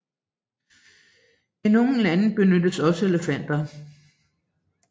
I nogle lande benyttes også elefanter